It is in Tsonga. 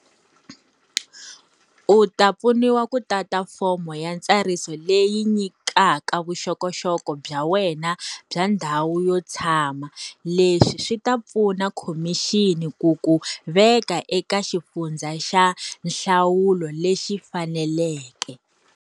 U ta pfuniwa ku tata fomo ya ntsariso leyi nyikaka vuxokoxoko bya wena bya ndhawu yo tshama. Leswi swi ta pfuna khomixini ku ku veka eka xifundza xa nhlawulo lexi faneleke.